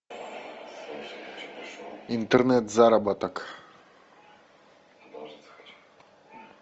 интернет заработок